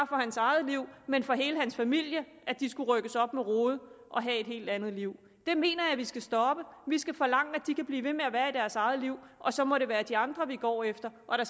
for hans eget liv men for hele hans familie de skulle rykkes op med rode og have et helt andet liv det mener jeg vi skal stoppe vi skal forlange at de kan blive ved at være i deres eget liv og så må det være de andre vi går efter og det